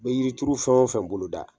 Be yiri turu fɛn o fɛn boloda